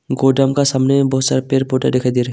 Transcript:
गोदाम का सामने बहुत सारा पेड़ पौधा दिखाई दे रहा है।